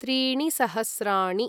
त्रीणि सहस्राणि